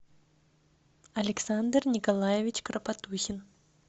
александр николаевич кропотухин